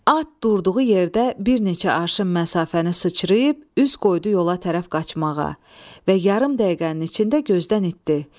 At durduğu yerdə bir neçə arşın məsafəni sıçrayıb üz qoydu yola tərəf qaçmağa və yarım dəqiqənin içində gözdən itd.